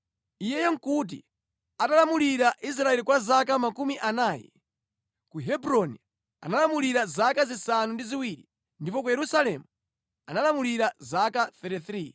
Iyeyo nʼkuti atalamulira Israeli kwa zaka makumi anayi. Ku Hebroni analamulira zaka zisanu ndi ziwiri ndipo ku Yerusalemu analamulira zaka 33.